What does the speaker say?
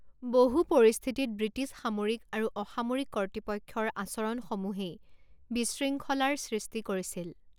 বহু পৰিস্থিতিত ব্ৰিটিছ সামৰিক আৰু অসামৰিক কৰ্তৃপক্ষৰ আচৰণসমূহেই বিশৃংখলাৰ সৃষ্টি কৰিছিল।